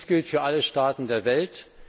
Dies gilt für alle Staaten der Welt.